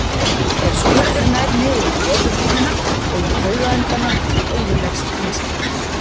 Ef skurður nær niður í leðurhúðina og í taugaendana eyðileggst mynstrið.